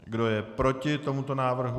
Kdo je proti tomuto návrhu?